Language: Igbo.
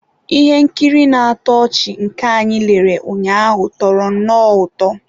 Ihe nkiri na-atọ ọchị nke anyị lere ụnyaahụ tọrọ nnọọ ụtọ.